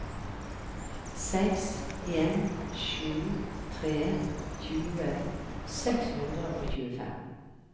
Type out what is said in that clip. seks en sju tre tjue seks hundre og tjuefem